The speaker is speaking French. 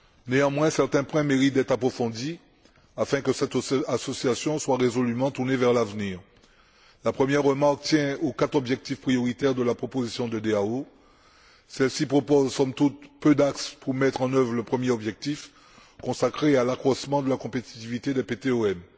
Néanmoins, certains points méritent d'être approfondis afin que cette association soit résolument tournée vers l'avenir. La première remarque tient aux quatre objectifs prioritaires de la proposition de DAO. Celle ci propose, somme toute, peu d'axes pour mettre en œuvre le premier objectif consacré à l'accroissement de la compétitivité des PTOM.